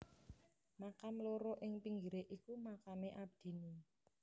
Makam loro ing pinggire iku makame abdine